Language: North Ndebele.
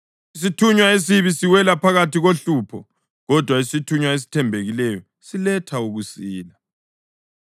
Isithunywa esibi siwela phakathi kohlupho, kodwa isithunywa esithembekileyo siletha ukusila.